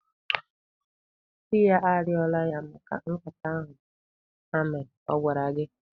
Di ya arịọla ya maka nkata ahụ ha mere. Ọ gwara gị?